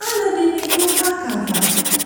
Aluɛde ne do park ava